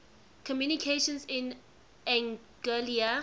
communications in anguilla